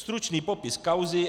Stručný popis kauzy.